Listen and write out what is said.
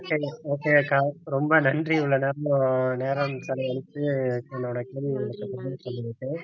okay okay அக்கா ரொம்ப நன்றி இவ்ளோ நேரமா நேரம் செலவழிச்சு என்னோட கேள்விகளுக்கு பதில் சொன்னதுக்கு